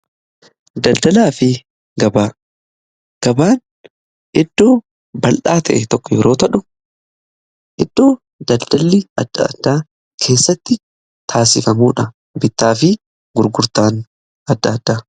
Daldalaa fi gabaa, gabaan iddoo bal'aa ta'e tokko yeroo ta'u iddoo daldalii adda addaa keessatti taasifamuudha bittaa fi gurgurtaan adda addaa.